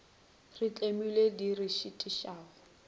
re tlemilego di re šitišago